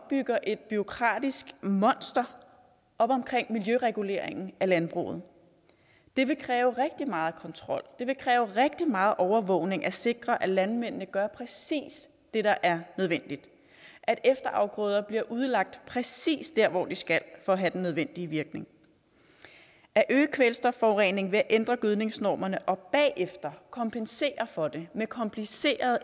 bygger et bureaukratisk monster op omkring miljøreguleringen af landbruget det vil kræve rigtig meget kontrol det vil kræve rigtig meget overvågning at sikre at landmændene gør præcis det der er nødvendigt at efterafgrøder bliver udlagt præcist der hvor de skal for at have den nødvendige virkning at øge kvælstofforureningen ved at ændre gødningsnormerne og bagefter kompensere for det med komplicerede